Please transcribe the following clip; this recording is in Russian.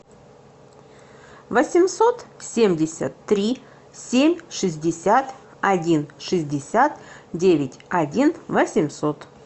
восемьсот семьдесят три семь шестьдесят один шестьдесят девять один восемьсот